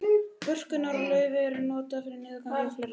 börkur og lauf eru notuð við niðurgangi og fleira